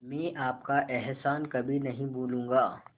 मैं आपका एहसान कभी नहीं भूलूंगा